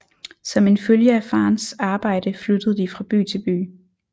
Som en følge af farens arbejde flyttede de fra by til by